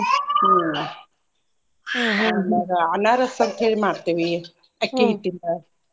Babble ಹ್ಮ್ ಆಮ್ಯಾಗ ಅನಾರಸ್ ಅಂತ್ ಹೇಳಿ ಮಾಡ್ತೇವಿ ಅಕ್ಕಿ ಹಿಟ್ಟಿಂದ.